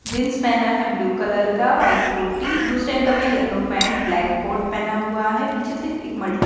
jeans पेहना है blue colour का वाइट कोटी दूसरे अंकल ने येलो पैंट ब्लैक कोट पेहना हुआ हैं पीछे से एक मल्टी --